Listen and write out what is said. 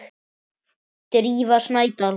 Drífa Snædal.